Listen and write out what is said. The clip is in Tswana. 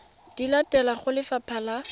di latelang go lefapha la